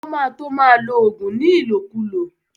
O má to ma lo ògùn ní ìlòkulò